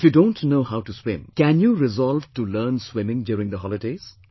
If you don't know how to swim, can you resolve to learn swimming during the holidays